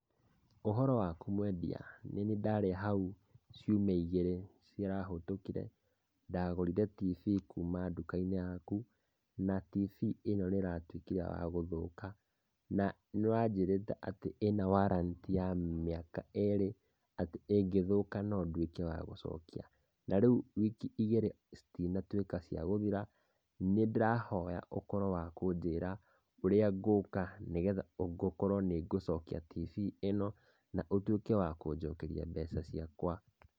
Ũhoro waku mwendia, nĩniĩ ndarĩ hau ciumia igĩrĩ, cirahĩtũkire. Ndagũrire TV kuma nduka-inĩ yaku, na TV ĩno nĩratuĩkire ya gũthũka. Na nĩ wanjĩrĩte atĩ ĩna warranty ya mĩaka ĩrĩ, atĩ ĩngĩthũka no nduĩke wa gũcokia. Na rĩu wiki igĩrĩ citinatuĩka ciagũthira, nĩ ndĩrahoya ũkorwo wa kũnjĩra ũrĩa ngũk,a nĩgetha gũkorwo nĩngũcokia TV ĩno, na ũtuĩke wa kũnjokeria mbeca ciakwa.